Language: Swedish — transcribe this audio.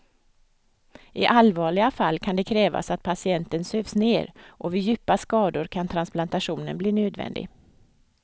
I allvarliga fall kan det krävas att patienten sövs ner och vid djupa skador kan transplantation bli nödvändig.